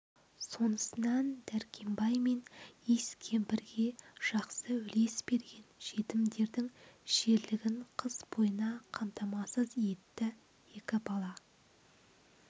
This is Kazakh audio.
сонысынан дәркембай мен иіс кемпірге жақсы үлес берген жетімдердің ішерлігін қыс бойына қамтамасыз етті екі бала